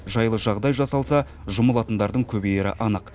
жайлы жағдай жасалса жұмылатындардың көбейері анық